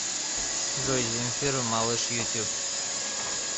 джой земфира малыш ютьюб